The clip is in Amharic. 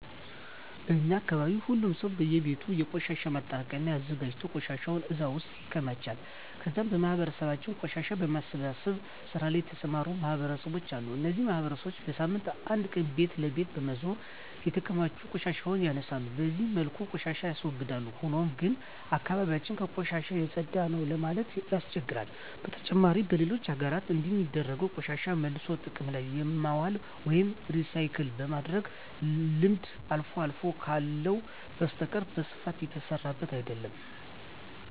በእኛ አካባቢ ሁሉም ሰው በእየቤቱ የቆሻሻ ማጠራቀሚያ አዘጋጅቶ ቆሻሻውን እዛ ውስጥ ያከማቻል ከዛም በማህበረሰባችን ቆሻሻን በመሰብሰብ ስራ ላይ የተሰማሩ ማህበራት አሉ። እነዚህ ማህበራት በሳምንት አንድ ቀን ቤት ለቤት በመዞር የተከማቹ ቆሻሻዎችን ያነሳሉ። በዚህ መልኩ ቆሻሻን ያስወግዳል። ሆኖም ግን አካባቢ ያችን ከቆሻሻ የፀዳ ነው ለማለት ያስቸግራል። በተጨማሪም በሌሎች ሀገራት እንደሚደረገው ቆሻሻን መልሶ ጥቅም ላይ የማዋል ወይም ሪሳይክል የማድረግ ልምድ አልፎ አልፎ ካልሆነ በስተቀረ በስፋት እየተሰራበት አይደለም።